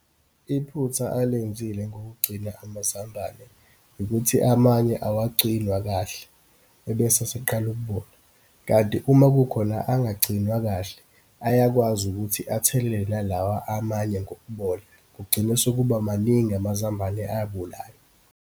Iphutha alenzile ngokugcina amazambane, ukuthi amanye awagcinwa kahle, ebese aseqala ukubola. Kanti uma kukhona angagcinwa kahle, ayakwazi ukuthi athelele nalawa amanye ngokubola, kugcine sekuba maningi amazambane abolayo.